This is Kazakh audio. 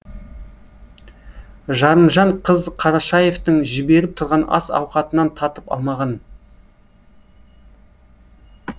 жарымжан қыз қарашаевтың жіберіп тұрған ас ауқатынан татып алмаған